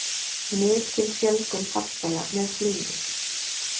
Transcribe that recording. Mikil fjölgun farþega með flugi